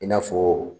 I n'a fɔ